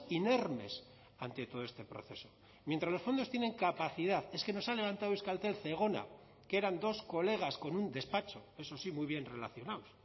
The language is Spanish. inermes ante todo este proceso mientras los fondos tienen capacidad es que nos ha levantado euskaltel zegona que eran dos colegas con un despacho eso sí muy bien relacionados